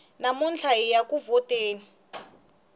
namuntlha hiya ku vhoteni